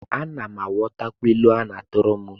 Ana m aghọtakwa ilu a na-atụrụ m